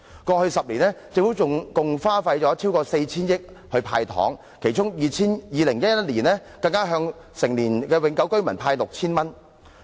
過去10年，政府共花費逾 4,000 億元"派糖"，其中在2011年，更向成年永久性居民派發 6,000 元。